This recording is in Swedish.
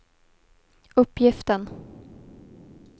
uppgiften